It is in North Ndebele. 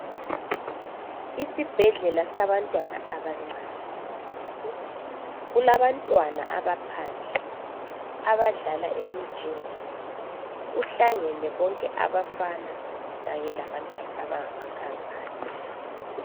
ISibhedlela sabantwana abancane ,kulabantwana abaphandle abadlala emijingweni kuhlangene bonke abafana kanye labantwana abangamankazana